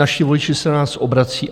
Naši voliči se na nás obracejí.